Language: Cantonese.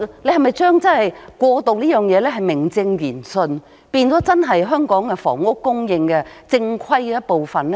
你是否想把"過渡房屋"名正言順地變成香港房屋正規供應的一部分呢？